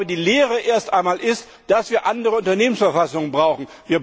Die Lehre ist erst einmal, dass wir andere Unternehmensverfassungen brauchen.